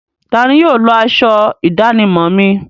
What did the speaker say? Tani yóò lọ aṣọ ìdánimọ̀ mi?